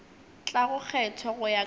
tlago kgethwa go ya ka